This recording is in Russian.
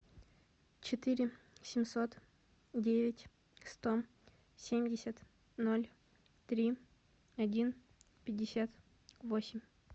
четыре семьсот девять сто семьдесят ноль три один пятьдесят восемь